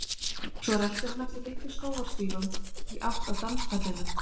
Svo rölti hann eftir litlum skógarstígum í átt að danspallinum.